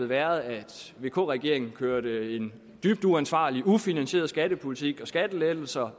været at vk regeringen kørte en dybt uansvarlig ufinansieret skattepolitik og skattelettelser